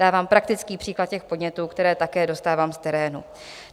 Dávám praktický příklad těch podnětů, které také dostávám z terénu.